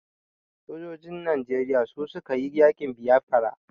Sojojin Najeriya su su ka yi yaƙin Biafra.